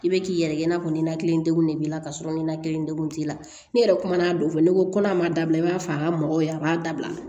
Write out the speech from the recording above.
I bɛ k'i yɛrɛ ye i n'a fɔ ninakili degun de b'i la ka sɔrɔ nina kelen degun t'i la n'i yɛrɛ kumana don fɛ ne ko n'a ma dabila i b'a fɔ a ka mɔgɔw ye a b'a dabila